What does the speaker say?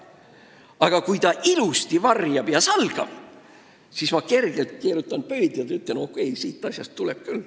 Aga kui ta ilusasti varjab ja salgab, siis ma keerutan kergelt pöidlaid ja ütlen, et okei, sellest saab asja küll.